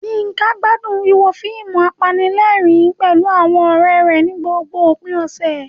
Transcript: Yinka gbádùn wíwo fíìmù apanilẹ́rìn-ín pẹ̀lú àwọn ọ̀rẹ́ rẹ̀ ní gbogbo òpin ọ̀sẹ̀.